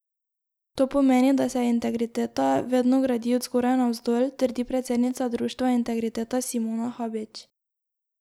To pomeni, da se integriteta vedno gradi od zgoraj navzdol, trdi predsednica društva Integriteta Simona Habič.